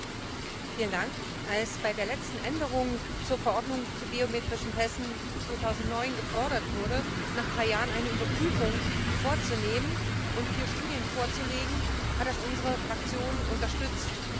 Frau Präsidentin! Als bei der letzten Änderung der Verordnung zu biometrischen Pässen 2009 gefordert wurde, nach drei Jahren eine Überprüfung vorzunehmen und vier Studien vorzulegen, hat dies unsere Fraktion unterstützt.